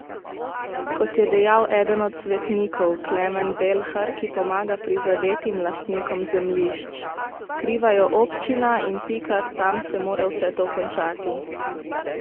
Kot je dejal eden od svetnikov, Klemen Belhar, ki pomaga prizadetim lastnikom zemljišč: 'Kriva je občina, in pika, tam se mora vse to končati.